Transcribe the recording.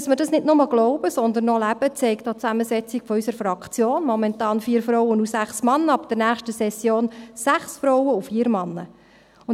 Dass wir das nicht nur glauben, sondern auch leben, zeigt auch die Zusammensetzung unserer Fraktion: Momentan 4 Frauen und 6 Männer, ab nächster Session 6 Frauen und 4 Männer.